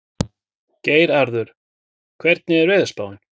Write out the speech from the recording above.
Geirarður, hvernig er veðurspáin?